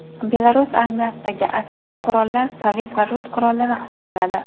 Belarus armiyasidagi aksar qurollar sovet va rus qurollari hisoblanadi.